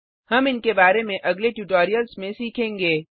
हम इनके बारे में अगले ट्यूटोरियल्स में सीखेंगे